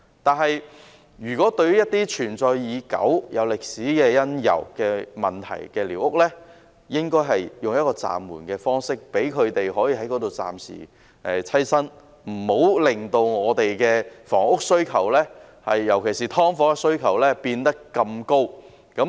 但是，對於一些存在已久、有歷史因由的寮屋，應該用一個暫緩的方式，容許居民暫時棲身，不要令房屋需求，尤其是對"劏房"的需求變得這麼大。